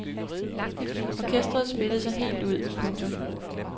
Orkestret spillede sig helt ud. punktum